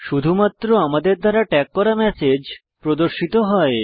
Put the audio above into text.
শুধুমাত্র আমাদের দ্বারা ট্যাগ করা ম্যাসেজ প্রদর্শিত হয়